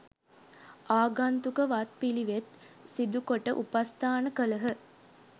ආගන්තුක වත් පිළිවෙත් සිදුකොට උපස්ථාන කළහ.